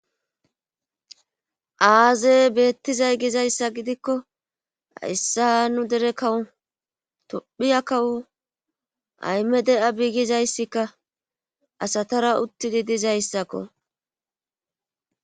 aaze beettizay gizayssa gidikko hayssa nu dere kawu tophiya kawu ayme de7a biigizayssikka asatara uttidi dizayssakko